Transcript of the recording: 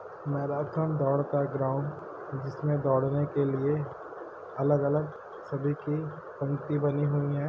Marathon का दौड़ का ग्राउन्ड जिसमे दौड़ ने के लिए अलग-अलग सभी की पंक्ति बनी हुई हैं।